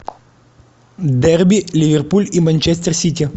дерби ливерпуль и манчестер сити